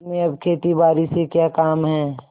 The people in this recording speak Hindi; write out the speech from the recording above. तुम्हें अब खेतीबारी से क्या काम है